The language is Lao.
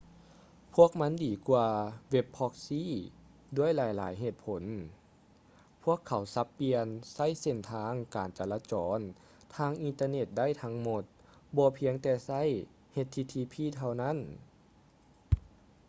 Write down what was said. ພວກມັນດີກວ່າເວັບພຼອັກຊີ່ web proxies ດ້ວຍຫຼາຍໆເຫດຜົນ: ພວກເຂົາສັບປ່ຽນໃຊ້ເສັ້ນທາງການຈະລາຈອນທາງອິນເຕີເນັດໄດ້ທັງໝົດ ບໍ່ພຽງແຕ່ໃຊ້ http ເທົ່ານັ້ນ